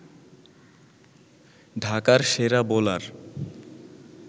ঢাকার সেরা বোলার